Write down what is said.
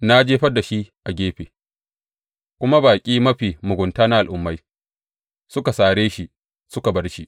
Na jefar da shi a gefe, kuma baƙi mafi mugunta na al’ummai suka sare shi suka bar shi.